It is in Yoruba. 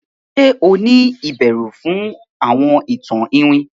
Ṣe o ni ìbẹrù fún àwọn ìtàn iwin?